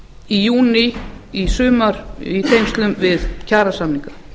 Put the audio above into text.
í júní í sumar í tengslum við kjarasamninga